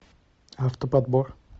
автоподбор